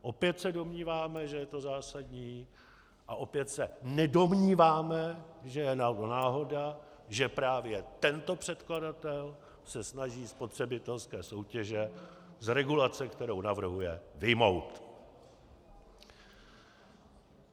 Opět se domníváme, že je to zásadní, a opět se nedomníváme, že je náhoda, že právě tento předkladatel se snaží spotřebitelské soutěže z regulace, kterou navrhuje, vyjmout.